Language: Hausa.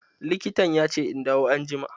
Likitan ya ce in dawo anjima.